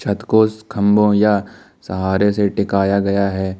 छत कोष खंबो या सहारे से टिकाया गया है।